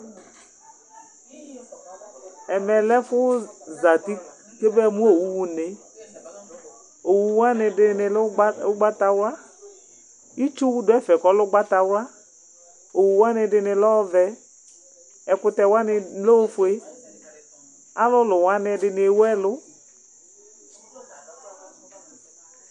Ɛmɛ lɛ ɛfu zati kɛ ma mu owu ɣa une , owu wʋani bi ɛdi ni lɛ ugbata wla, itsu wu du ɛfɛ ku ɔlɛ ugbata wla, owu wʋani ɛdini lɛ ɔvɛ, ɛkutɛ wʋani lɛ ofue, alulu wʋani ɛdini ewu ɛlu